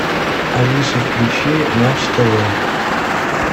алиса включи матч тв